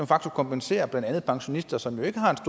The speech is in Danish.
facto kompenserer blandt andet pensionister som jo ikke har et